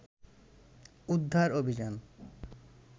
উদ্ধার অভিযান